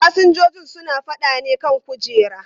Fasinjojin suna faɗa ne kan kujera.